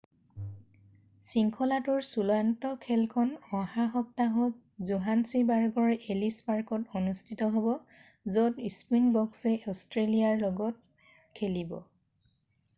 শৃংখলাটোৰ চূড়ান্ত খেলখন অহা সপ্তাহত জোহান্সিবাৰ্গৰ এলিছ পাৰ্কত অনুষ্ঠিত হ'ব য'ত স্পৃইংবক্সয়ে অষ্ট্ৰেলিয়াৰ লগত খেলিব